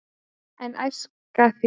en æska þér